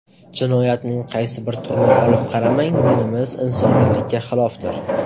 Jinoyatning qaysi bir turini olib qaramang, dinimiz, insoniylikka xilofdir.